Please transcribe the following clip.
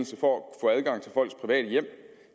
så går